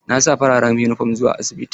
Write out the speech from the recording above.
Na sa farar yunifom zuwa asibiti.